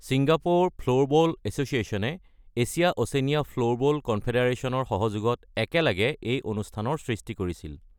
Singapore floorball এছ’চিয়েশ্যনে Asia Oceania floorball কনফেডাৰেচনৰ সহযোগত একেলগে এই অনুষ্ঠানৰ সৃষ্টি কৰিছিল।